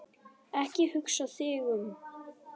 Ekki hugsa þig um.